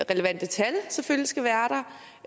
relevante tal selvfølgelig skal være